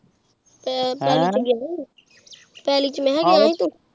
ਹੇੰ